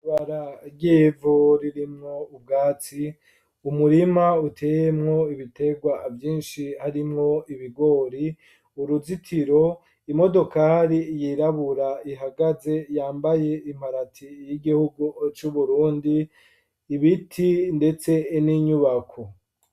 Ibarabara ryivu ririmwo ubwatsi, umurima uteyemwo ibitegwa vyinshi harimwo ibigori, uruzitiro, imodokari yirabura ihagaze yambaye imparati y'igihugu c'uburundi, ibiti ndetse n'inyubako.